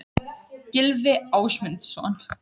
Gylfi Ásmundsson.